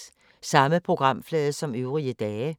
Samme programflade som øvrige dage